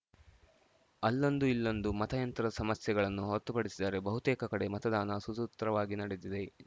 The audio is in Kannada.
ಅಲ್ಲೊಂದು ಇಲ್ಲೊಂದು ಮತಯಂತ್ರ ಸಮಸ್ಯೆಗಳನ್ನು ಹೊರತುಪಡಿಸಿದರೆ ಬಹುತೇಕ ಕಡೆ ಮತದಾನ ಸುಸೂತ್ರವಾಗಿ ನಡೆದಿದೆ